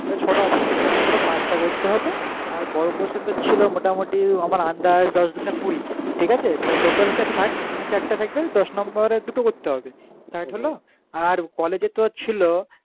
আর college এ তো ছিল ছটা option ছিলো যে কোনো পাঁচটা করতে হবে আর বড়ো question তো ছিলো মোটামুটি আমার আন্দাজ দশ দু গুণে কুড়ি ঠিক আছে তা total হচ্ছে ষাট মানে চারটা থাকবে দশ number এর দুটো করতে হবে